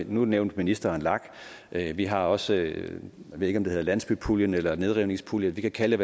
nu nævnte ministeren lag men vi har også jeg ved ikke om det hedder landsbypuljen eller nedrivningspuljen vi kan kalde